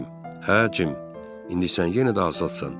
Hə cim, indi sən yenə də azadsan.